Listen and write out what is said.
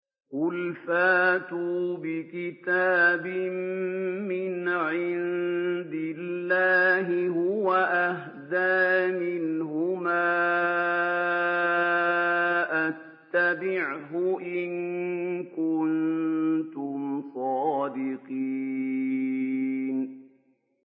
قُلْ فَأْتُوا بِكِتَابٍ مِّنْ عِندِ اللَّهِ هُوَ أَهْدَىٰ مِنْهُمَا أَتَّبِعْهُ إِن كُنتُمْ صَادِقِينَ